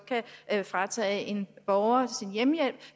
kan fratage en borger hjemmehjælp